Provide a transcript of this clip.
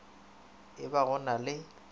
e ba go na le